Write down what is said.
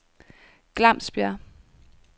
Glamsbjerg